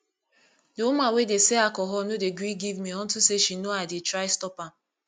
the woman wey dey sell alcohol no dey gree give me unto say she no i dey try stop am